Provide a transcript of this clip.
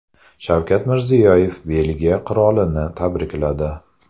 Shavkat Mirziyoyev Belgiya qirolini tabrikladi.